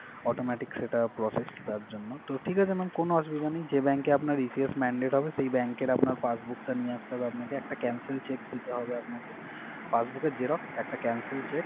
autometic সেটা process তার জন্য। তো ঠিক আছে mam কোন অসুবিধা নেই। যেই bank এ আপনার ECS mandate হবে সেই bank এর আপনার passbook টা নিয়ে আসতে হবে আপনাকে, একটা cancel cheque দিতে হবে আপনাকে। Passbook এর xerox একটা cancel cheque